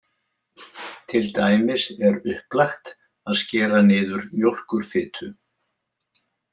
Til dæmis er upplagt að skera niður mjólkurfitu.